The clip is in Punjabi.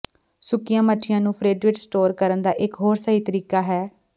ਸੁੱਕੀਆਂ ਮੱਛੀਆਂ ਨੂੰ ਫਰਿੱਜ ਵਿੱਚ ਸਟੋਰ ਕਰਨ ਦਾ ਇਕ ਹੋਰ ਸਹੀ ਤਰੀਕਾ ਹੈ